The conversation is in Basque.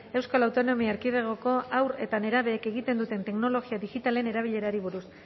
euskal autonomia erkidegoko haur eta nerabeek egiten duten teknologia digitalen erabilerari buruz